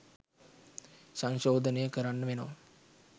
සංශෝදනය කරන්න වෙනවා